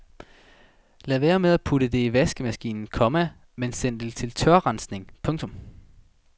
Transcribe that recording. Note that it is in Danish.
Lad være med at putte det i vaskemaskinen, komma men send det til tørrensning. punktum